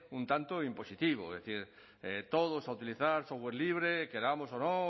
un tanto impositivo es decir todos a utilizar software libre queramos o no